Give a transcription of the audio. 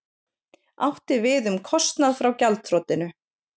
Átti við um kostnað frá gjaldþrotinu